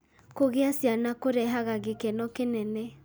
Kũgĩa ciana kũrehaga gĩkeno kĩnene.